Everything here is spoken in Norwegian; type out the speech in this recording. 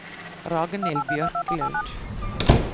Ragnhild Bjørklund